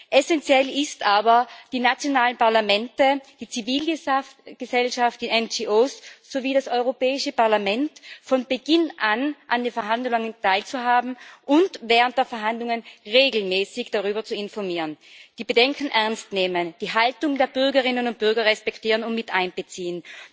Essenziell ist aber, die nationalen Parlamente, die Zivilgesellschaft, die NGO sowie das Europäische Parlament von Beginn an an den Verhandlungen teilhaben zu lassen und während der Verhandlungen regelmäßig darüber zu informieren, die Bedenken ernst zu nehmen, die Haltung der Bürgerinnen und Bürger respektieren und mit einzubeziehen.